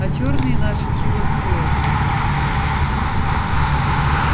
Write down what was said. а чёрные наши чего стоят